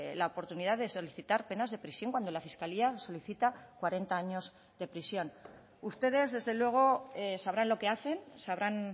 la oportunidad de solicitar penas de prisión cuando la fiscalía solicita cuarenta años de prisión ustedes desde luego sabrán lo que hacen sabrán